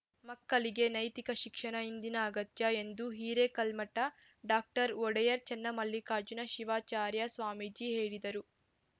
ಮಕ್ಕಳಿಗೆ ನೈತಿಕ ಶಿಕ್ಷಣ ಇಂದಿನ ಅಗತ್ಯ ಎಂದು ಹಿರೇಕಲ್ಮಠ ಡಾಕ್ಟರ್ ಒಡೆಯರ್‌ ಚನ್ನಮಲ್ಲಿಕಾರ್ಜುನ ಶಿವಾಚಾರ್ಯ ಸ್ವಾಮೀಜಿ ಹೇಳಿದರು